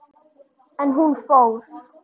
En hún fór.